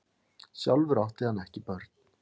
Sjálfur átti hann ekki börn.